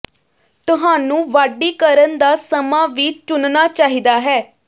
ਤੁਹਾਨੂੰ ਵਾਢੀ ਕਰਨ ਦਾ ਸਮਾਂ ਵੀ ਚੁਣਨਾ ਚਾਹੀਦਾ ਹੈ